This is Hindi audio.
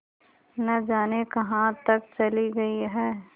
न जाने कहाँ तक चली गई हैं